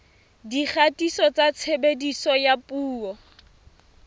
dikgatiso tsa tshebediso ya dipuo